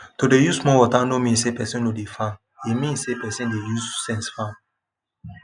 to dey use small water no mean say person no dey farm e mean say person dey use sense farm